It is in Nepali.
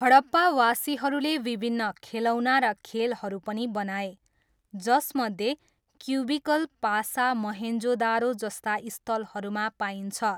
हडप्पावासीहरूले विभिन्न खेलौना र खेलहरू पनि बनाए, जसमध्ये क्युबिकल पासा मोहेन्जोदारो जस्ता स्थलहरूमा पाइन्छ।